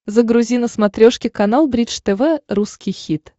загрузи на смотрешке канал бридж тв русский хит